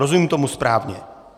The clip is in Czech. Rozumím tomu správně?